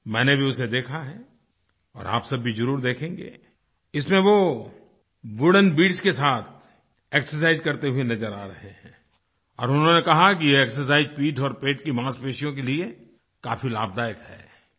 मैंने भी उसे देखा है और आप सब भी ज़रूर देखेंगे इसमें वो वुडेन बीड्स के साथ एक्सरसाइज करते हुए नज़र आ रहे हैं और उन्होंने कहा है कि ये एक्सरसाइज पीठ और पेट की मांसपेशियों के लिए काफ़ी लाभदायक है